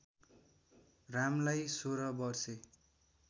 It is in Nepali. रामलाई सोह्र वर्षे